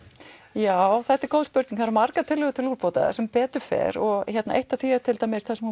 já þetta er góð spurning það eru margar tillögur til úrbóta sem betur fer og eitt af því er til dæmis það sem